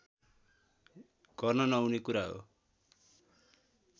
गर्न नहुने कुरा हो